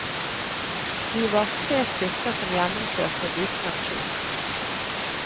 Vi var tre stykker som gjennomførte en liten aksjon.